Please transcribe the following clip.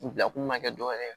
U bila kun ma kɛ dɔwɛrɛ ye